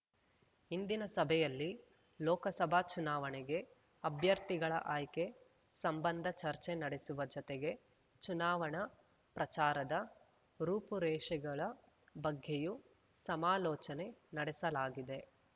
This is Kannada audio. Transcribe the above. ಇಂದಿನ ಸಭೆಯಲ್ಲಿ ಲೋಕಸಭಾ ಚುನಾವಣೆಗೆ ಅಭ್ಯರ್ಥಿಗಳ ಆಯ್ಕೆ ಸಂಬಂಧ ಚರ್ಚೆ ನಡೆಸುವ ಜತೆಗೆ ಚುನಾವಣಾ ಪ್ರಚಾರದ ರೂಪುರೇಷೆಗಳ ಬಗ್ಗೆಯೂ ಸಮಾಲೋಚನೆ ನಡೆಸಲಾಗಿದೆ